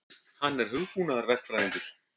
Hann er hugbúnaðarverkfræðingur.